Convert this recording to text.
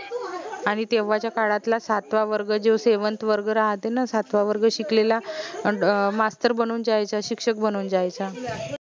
आनि तेव्हाच्या काडातला सातवा वर्ग जो seventh वर्ग राहाते न सातवा वर्ग शिकलेला मास्तर बनून जायचा शिक्षक बनून जायचा